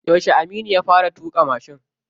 Yauce Aminu ya fara tuƙa mashin?